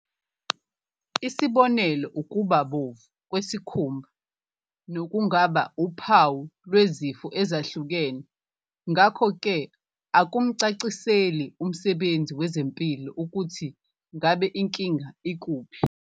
Isibonelo ukubabomvu kwesikhumba, nokungaba uphawu lwezifo ezahlukene ngakho ke okumcaciseli umsebenzi wezempilo ukuthi ngabe inkinga ikuphi.